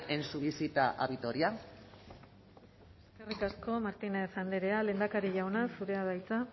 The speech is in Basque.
en su visita a vitoria eskerrik asko martínez andrea lehendakari jauna zurea da hitza